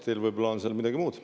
Teil võib-olla on seal midagi muud.